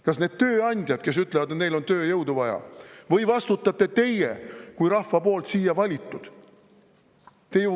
Kas need tööandjad, kes ütlevad, et neil on tööjõudu vaja, või vastutate teie kui rahva poolt siia valitud?